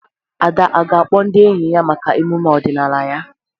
Ada ọ̀ ga-akpọ ndị enyi ya maka emume ọdịnala ya?